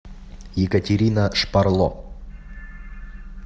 екатерина шпарло